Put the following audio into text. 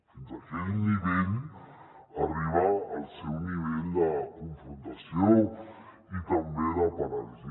fins a aquell nivell arriba el seu nivell de confrontació i també de paràlisi